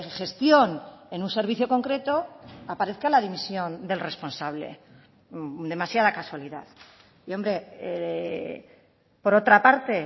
gestión en un servicio concreto aparezca la dimisión del responsable demasiada casualidad y hombre por otra parte